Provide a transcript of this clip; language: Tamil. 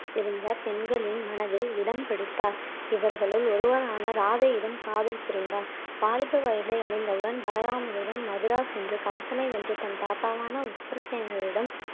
இருந்த பெண்களின் மனதில் இடம் பிடித்தார் இவர்களுள் ஒருவரான ராதையிடம் காதல் புரிந்தார் வாலிப வயதை அடைந்தவுடன் பலராமனுடன் மதுரா சென்று கம்சனை வென்று தன் தாத்தாவான உக்கிரசேனரிடம்